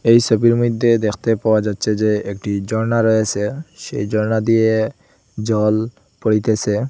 এই সবির মধ্যে দেখতে পাওয়া যাচ্ছে যে একটি ঝর্ণা রয়েসে সেই ঝর্ণা দিয়ে জল পড়িতেসে।